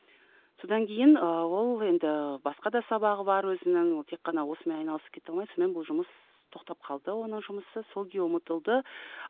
содан кейін ы ол енді басқа да сабағы бар өзінің тек қана ол осымен айналысып кете алмай сонымен бұл жұмыс тоқтап қалды оның жұмысы сол күйі ұмытылды